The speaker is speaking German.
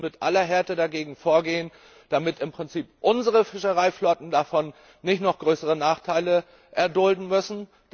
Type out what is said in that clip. Und wir müssen mit aller Härte dagegen vorgehen, damit unsere Fischereiflotten dadurch nicht noch größere Nachteile erdulden müssen.